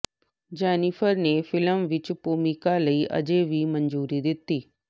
Jennifer ਨੇ film ਵਿਚ ਭੂਮਿਕਾ ਲਈ ਅਜੇ ਵੀ ਮਨਜ਼ੂਰੀ ਦਿੱਤੀ